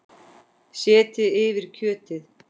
Setjið yfir kjötið.